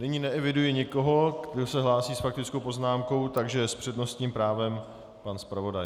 Nyní neeviduji nikoho, kdo se hlásí s faktickou poznámkou, takže s přednostním právem pan zpravodaj.